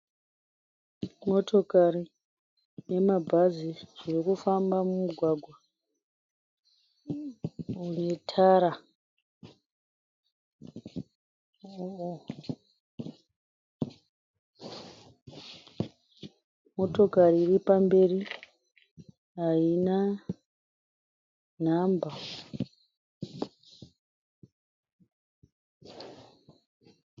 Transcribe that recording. Motokari nemabhazi zviri kufamba mumugwagwa une tara. Motokari iri pamberi haina nhamba.